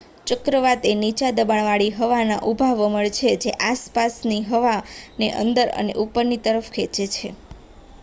ચક્રવાત એ નીચા દબાણવાળી હવાના ઊભા વમળ છે જે આસપાસની હવાને અંદર અને ઉપરની તરફ ખેંચે છે